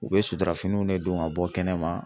U be sutarafiniw ne don ka bɔ kɛnɛma